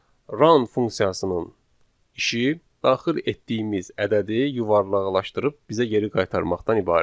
Round funksiyasının işi daxil etdiyimiz ədədi yuvarlaqlaşdırıb bizə geri qaytarmaqdan ibarətdir.